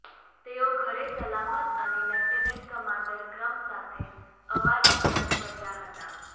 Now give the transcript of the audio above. તેઓ ઘરે સલામત અને લેફ્ટનન્ટ કમાન્ડર ક્રમ સાથે અવાજ પરત ફર્યા હતા